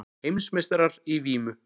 Heimsmeistarar í vímu